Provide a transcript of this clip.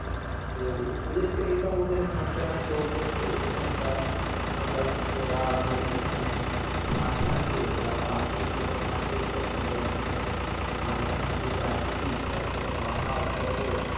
তো ওদেরকে দেখলাম ওদের হাটতে হাটতে অভ্যস্থ ওখানকার ওখানকার ঘোড়া হরিণ ওখানে ঘাস খাচ্ছে তার পাশ দিয়ে ছোট মাঠ রেরিয়ে গেছে আমরা ওখানে মাঝ খান দিয়ে যাচ্ছি চারিদিকে পাহাড় পার্বত